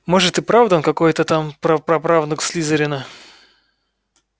может и правда он какой-то там прапраправнук слизерина